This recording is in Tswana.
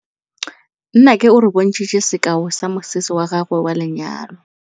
Nnake o re bontshitse sekaô sa mosese wa gagwe wa lenyalo.